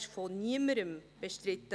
Dieser wurde von niemandem bestritten.